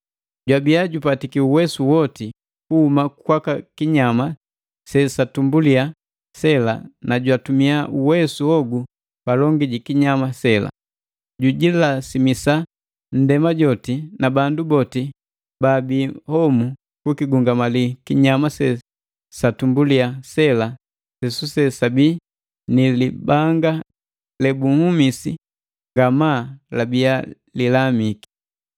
Jwabiya jupatiki uwesu woti kuhuma kwaka kinyama se satumbulia sela na jwatumia uwesu hogu palongi jikinyama sela. Jujilasimisa ndema joti na bandu boti baabi homu kukigungamali kinyama se satumbulia sela sesuse sabia ni libanga lebunhumisi ngamaa labia lilamiki.